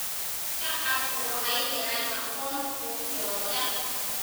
Shacabku waxay helaan aqoon xuquuqdooda.